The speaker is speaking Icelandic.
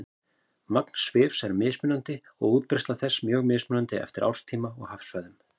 Magn svifs er mismikið og útbreiðsla þess er mjög mismunandi eftir árstíma og hafsvæðum.